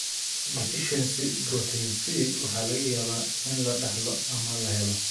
Deficiency Protein C waxa laga yaabaa in la dhaxlo ama la helo.